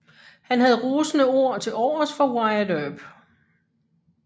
Han havde rosende ord til overs for Wyatt Earp